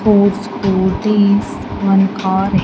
Four scooties one car--